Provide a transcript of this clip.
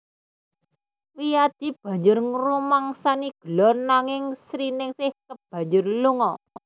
Wiyadi banjur ngrumangsani gelo nanging Sriningsing kebanjur lunga